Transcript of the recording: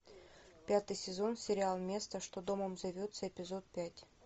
пятый сезон сериал место что домом зовется эпизод пять